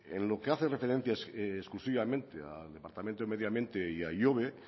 en lo que hace referencia exclusivamente al departamento de medio ambiente y a ihobe